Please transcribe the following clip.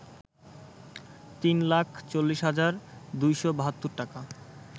৩ লাখ ৪০ হাজার ২৭২ টাকা